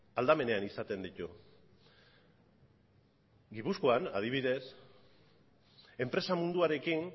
aldamenean izaten ditu gipuzkoan adibidez enpresa munduarekin